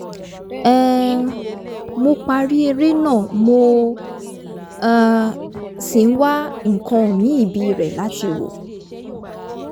um mo parí eré náà mo um sì ń wá nǹkan míì bíirẹ̀ láti wò